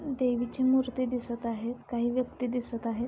देवीची मूर्ती दिसत आहेत काही व्यक्ति दिसत आहेत.